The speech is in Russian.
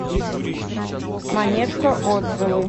монетка отзывы